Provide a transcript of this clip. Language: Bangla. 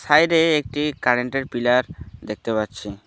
বাইরে একটি কারেন্ট -এর পিলার দেখতে পাচ্ছি।